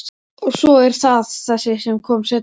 Og svo er það þessi sem kom seinna.